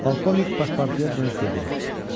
Polkovnik Paspartuya dönüb dedi: